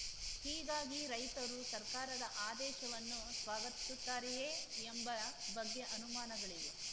ಹೀಗಾಗಿ ರೈತರು ಸರ್ಕಾರದ ಆದೇಶವನ್ನು ಸ್ವಾಗತಿಸುತ್ತಾರೆಯೇ ಎಂಬ ಬಗ್ಗೆ ಅನುಮಾನಗಳಿವೆ